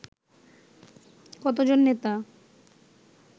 কতজন নেতা